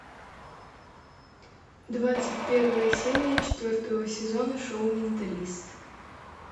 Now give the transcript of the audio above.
двадцать первая серия четвертого сезона шоу менталист